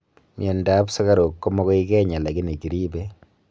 miando ap sugaruk komagoi kenya lakini kiribe